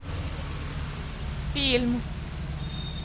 фильм